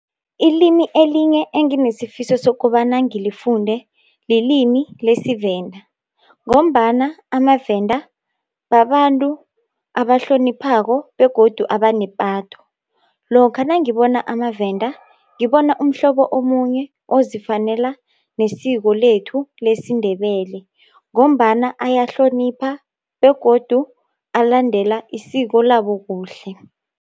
Ilimi elinye enginesifiso sokobana ngilifunde lilimi lesivenda, ngombana amaVenda babantu abahloniphako, begodu abanepatho. Lokha nangibona amaVenda, ngibona umhlobo omunye ozifanela nesiko lethu lesindebele, ngombana ayahlonipha begodu alandela isiko labo kuhle.